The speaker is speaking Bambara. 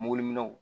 Muguliminɛnw